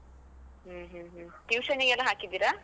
ಹ್ಮ್ ಹ್ಮ್ ಹ್ಮ್, tuition ಗೆಲ್ಲ ಹಾಕಿದ್ದೀರಾ?